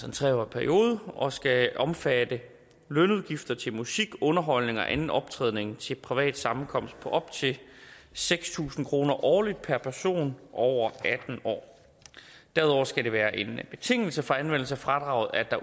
en tre årig periode og skal omfatte lønudgifter til musik underholdning og anden optræden til privat sammenkomst på op til seks tusind kroner årligt per person over atten år derudover skal det være en betingelse for anvendelse af fradraget at